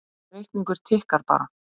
Sá reikningur tikkar bara